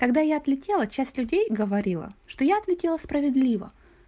когда я отлетела часть людей говорила что я ответила справедливо